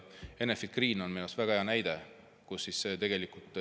Enefit Green on minu arust väga hea näide.